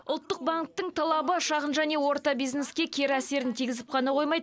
ұлттық банктің талабы шағын және орта бизнеске кері әсерін тигізіп қана қоймай